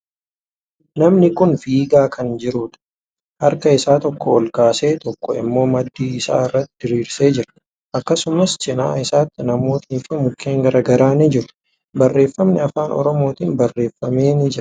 Namni kuni fiigaa kan jiruudha. Harka isaa tokko olkaasee, tokko immoo maddii isaatti diriirsee jira. Akkasumas, cinaa isaatti, namootni fi mukkeen garagaraa ni jiru. Barreeffamni afaan Oromootin barreeffame ni jira.